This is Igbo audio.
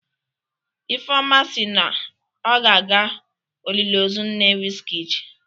Ifeoma si na ọ ga-aga oliliozu nne Wizkid